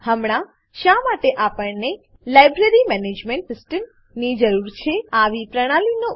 હમણાં શા માટે આપણને library management system library management system ની જરૂર છે